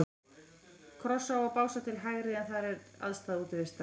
Krossá og Básar til hægri, en þar er aðstaða Útivistar.